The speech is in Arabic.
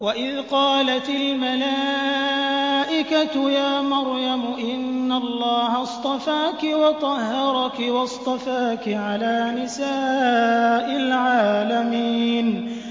وَإِذْ قَالَتِ الْمَلَائِكَةُ يَا مَرْيَمُ إِنَّ اللَّهَ اصْطَفَاكِ وَطَهَّرَكِ وَاصْطَفَاكِ عَلَىٰ نِسَاءِ الْعَالَمِينَ